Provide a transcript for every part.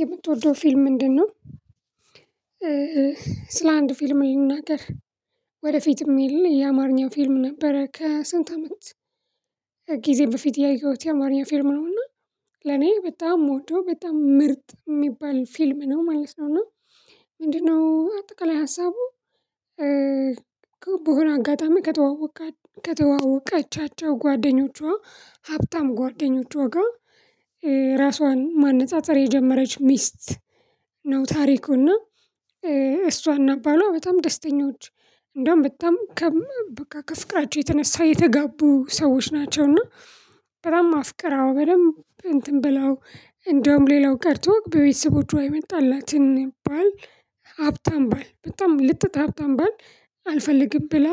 የምትወደው ፊልም ምንድነው? ስለ አንድ ፊልም ልንናገር ወደፊትም የሌለ የአማርኛ ፊልም ነበረ ከስንት አመት ጊዜ በፊት ያየሁት የአማርኛ ፊልም ነውና ለኔ በጣም የምወደው በጣም ምርጥ የሚባል ፊልም ነው ማለት ነው። እና ምንድነው አጠቃላይ ሀሳቡ? በሆነ አጋጣሚ ከተዋወቀ ከተዋወቀቻቸው ጓደኞቿ ሀብታም ጓደኞቿ ጋር ራሷን ማነፃፀር የጀመረች ሚስት ነው ታሪኩና። እሷ እና ባልዋ በጣም ደስተኞች እንደውም በጣም ከፍቅራቸው የተነሳ የተጋቡ ሰዎች ናቸው። እና በጣም አፍቅራው በደንብ እንትን ብላው እንደውም ሌላው ቀርቶ በቤተሰቦቹ የመጣላትን ባል ሀብታም ባል በጣም ልጥጥ ሀብታም ባል አልፈልግም ብላ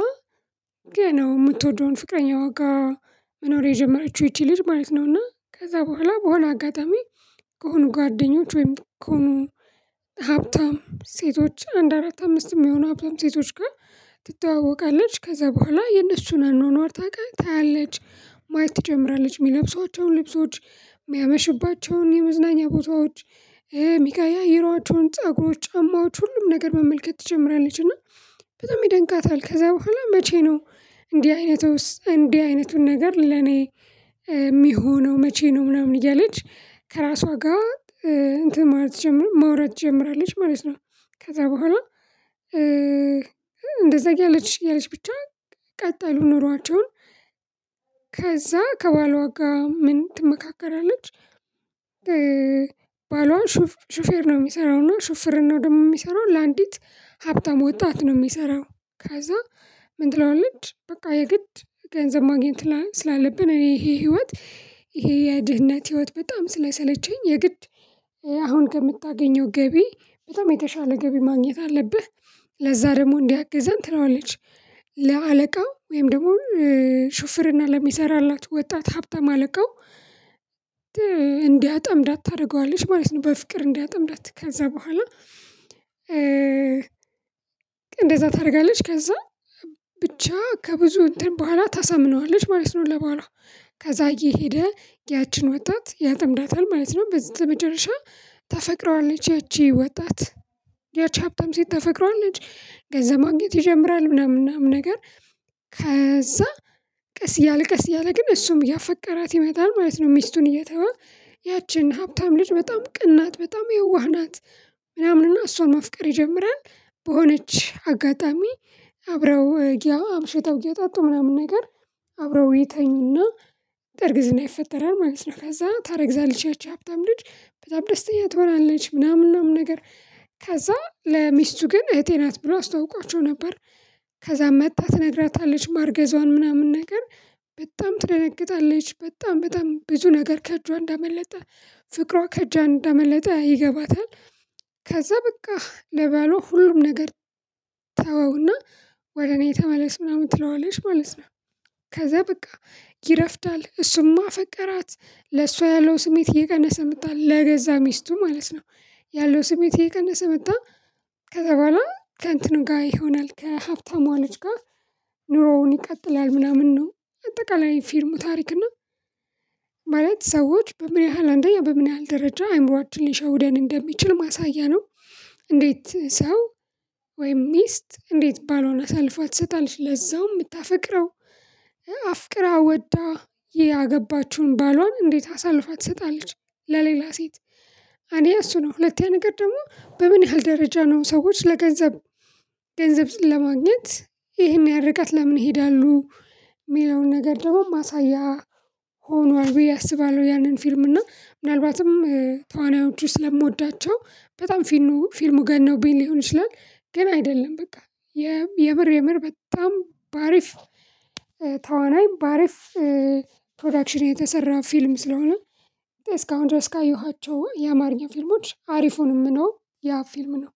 ገና የምትወደውን ፍቅረኛዋ ጋር መኖር የጀመረችው ይቺ ልጅ ማለት ነው። እና ከዛ በኋላ በሆነ አጋጣሚ ከሆኑ ጓደኞች ወይም ከሆኑ ሀብታም ሴቶች አንድ አራት አምስት የሚሆኑ ሀብታም ሴቶች ጋር ትተዋወቃለች። ከዛ በኋላ የእነሱን አኗኗር ታውቃለች ታያለች ማየት ትጀምራለች የሚለብሷቸውን ልብሶች የሚያመሽባቸውን የመዝናኛ ቦታዎች የሚቀያይሯቸውን ጸጉሮች ጫማዎች ሁሉም ነገር መመልከት ትጀምራለች። እና በጣም ይደንቃታል ከዛ በኋላ መቼ ነው እንዲህ አይነቱስ እንዲህ አይነቱን ነገር ለኔ የሚሆነው መቼ ነው? ምናምን እያለች ከራሷ ጋር እንትን ማውራት ትጀምራለች ማለት ነው። ከዛ በኋላ እንደዛ እያለች እያለች ብቻ ቀጥሉ ኖሯቸውን ከዛ ከባሏ ጋር ምን ትመካከራለች? ባሏ ሹፌር ነው የሚሰራው እና ሹፍርናው ደግሞ የሚሰራው ለአንዲት ሀብታም ወጣት ነው የሚሰራው። ከዛ ምን ትለዋለች? በቃ የግድ ገንዘብ ማግኘት ስላለብን እኔ ይሄ ህይወት ይሄ የድህነት ህይወት በጣም ስለሰለቸኝ የግድ አሁን ከምታገኘው ገቢ በጣም የተሻለ ገቢ ማግኘት አለብህ። ለዛ ደግሞ እንዲያግዘን ትለዋለች። ለአለቃው ወይም ደግሞ ሹፍርና ለሚሰራላት ወጣት ሀብታም አለቃው እንዲያጠምዳት ታደርገዋለች ማለት ነው። በፍቅር እንዲያጠምዳት ከዛ በኋላ እንደዛ ታደርጋለች። ከዛ ብቻ ከብዙ እንትን በኋላ ታሳምነዋለች ማለት ነው። ለባሏ ከዛ እየሄደ ያችን ወጣት ያጥምዳታል ማለት ነው። በስተ መጨረሻ ታፈቅረዋለች ያቺ ወጣት ያቺ ሀብታም ሴት ታፈቅረዋለች ገንዘብ ማግኘት ይጀምራል ምናምን ምናምን ነገር ከዛ ቀስ እያለ ቀስ እያለ ግን እሱም እያፈቀራት ይመጣል ማለት ነው። ሚስቱን እየተወ ያችን ሀብታም ልጅ በጣም ቅን ናት በጣም የዋህ ናት። ምናምንና እሷን ማፍቀር ይጀምራል በሆነች አጋጣሚ አብረው አምሽተው እየጠጡ ምናምን ነገር አብረው ይተኙና እርግዝና ይፈጠራል ማለት ነው። ከዛ ታረግዛለች ያቺ ሀብታም ልጅ በጣም ደስተኛ ትሆናለች። ምናምን ምናምን ነገር ከዛ ለሚስቱ ግን እህቴ ናት ብሎ አስተዋውቋቸው ነበር። ከዛም መጥታ ትነግራታለች ማርገዟን ምናምን ነገር በጣም ትደነግጣለች በጣም በጣም ብዙ ነገር ከእጇ እንዳመለጠ ፍቅሯ ከእጇ እንዳመለጠ ይገባታል። ከዛ በቃ ለባሏ ሁሉም ነገር ተወውና ወደ እኔ ተመለስ ምናምን ትለዋለሽ ማለት ነው። ከዛ በቃ ይረፍዳል እሱም አፈቀራት ለሷ ያለው ስሜት እየቀነሰ መጣ ለገዛ ሚስቱ ማለት ነው። ያለው ስሜት እየቀነሰ መጣ። ከዛ በኋላ ከእንትኑ ጋር ይሆናል ከሀብታሟ ልጅ ጋር ኑሮውን ይቀጥላል ምናምን ነው። አጠቃላይ ፊልሙ ታሪክ እና ማለት ሰዎች በምን ያህል አንደኛ በምን ያህል ደረጃ አይምሮአችን ሊሸውደን እንደሚችል ማሳያ ነው። እንዴት ሰው ወይም ሚስት እንዴት ባሏን አሳልፋ ትሰጣለች ለዛውም የምታፈቅረው አፍቅራ ወዳ ያገባችውን ባሏን እንዴት አሳልፋ ትሰጣለች? ለሌላ ሴት አንደኛ እሱ ነው ሁለተኛ ነገር ደግሞ በምን ያህል ደረጃ ነው ሰዎች ለገንዘብ ገንዘብ ለማግኘት ይሄን ያህል ርቀት ለምን ይሄዳሉ? የሚለውን ነገር ደግሞ ማሳያ ሆኗል ብዬ አስባለሁ። ያንን ፊልም እና ምናልባትም ተዋናዮቹን ስለምወዳቸው በጣም ፊልሙ ፊልሙ ገኖብኝ ሊሆን ይችላል። ግን አይደለም በቃ የምር የምር በጣም በአሪፍ ተዋናይ በአሪፍ ፕሮዳክሽን የተሰራ ፊልም ስለሆነ። እስካሁን ድረስ ካየኋቸው የአማርኛ ፊልሞች አሪፉ የምለው ነው። ያ ፊልም ነው።